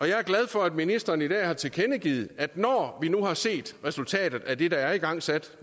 jeg er glad for at ministeren i dag har tilkendegivet at når vi nu har set resultatet af det der er igangsat